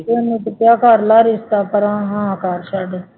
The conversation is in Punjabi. ਇਹਨੂੰ ਤਾਂ ਕਿਹਾ ਕਰ ਲਾ ਰਿਸ਼ਤਾ, ਪਰਾਂ ਹਾਂ ਕਰ ਛੱਡ